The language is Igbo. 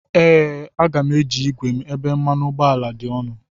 Ee, Aga m eji igwe m ebe mmanụ ụgbọala dị ọnụ.